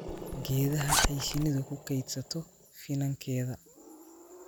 geedaha ay shinnidu ku kaydsato finankeeda